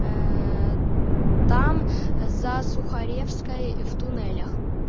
ээ там за сухаревской в туннелях